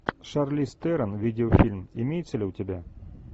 шарлиз терон видеофильм имеется ли у тебя